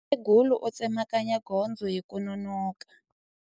Mukhegula u tsemakanya gondzo hi ku nonoka.